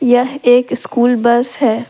यह एक school bus है।